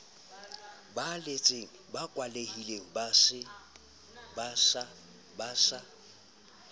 holetseng ba kwalehile ba sa